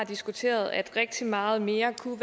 har diskuteret at rigtig meget mere kunne